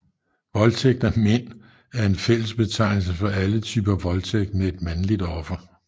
Voldtægt af mænd er en fællesbetegnelse for alle typer voldtægt med et mandligt offer